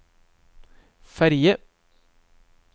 ferge